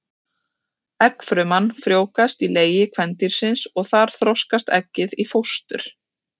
Eggfruman frjóvgast í legi kvendýrsins og þar þroskast eggið í fóstur.